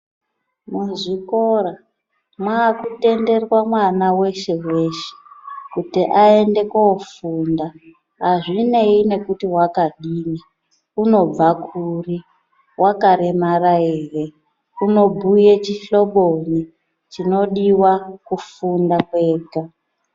Muzvikora makutenderwa mwana veshe-veshe kuti aende kofunda. Hazvinei nekuti vakadini unobva kuri, vakaremara ere, unobhuye chihloboyi chinodiva kufunda kwega.